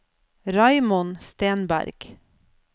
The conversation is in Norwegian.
Raymond Stenberg